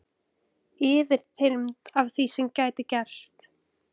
Yfirþyrmd af því sem gæti gerst.